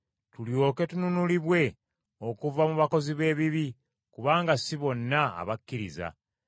tulyoke tununulibwe okuva mu bakozi b’ebibi, kubanga si bonna abakkiriza.